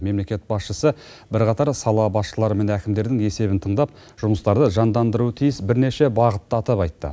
мемлекет басшысы бірқатар сала басшылары мен әкімдердің есебін тыңдап жұмыстарды жандандыруы тиіс бірнеше бағытты атап айтты